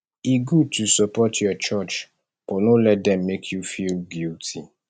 e good to support your church but no let dem make you feel guilty